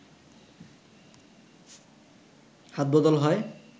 হাতবদল হয়